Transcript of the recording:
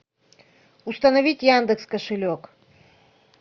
установить яндекс кошелек